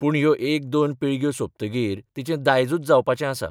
पूण ह्यो एक दोन पिळग्यो सोंपतकीर तिचें दायजूच जावपाचें आसा.